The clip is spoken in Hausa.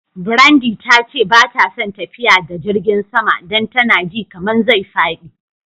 Brandy ta ce ba ta son tafiya da jirigin sama dan tana ji kaman zai fadi.